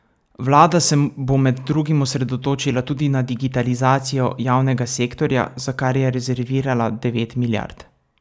Vlada se bo med drugim osredotočila tudi na digitalizacijo javnega sektorja, za kar je rezervirala devet milijard.